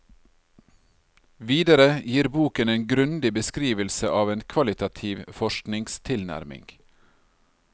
Videre gir boken en grundig beskrivelse av en kvalitativ forskningstilnærming.